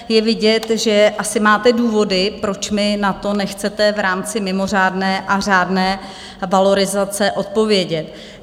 Je vidět, že asi máte důvody, proč mi na to nechcete v rámci mimořádné a řádné valorizace odpovědět.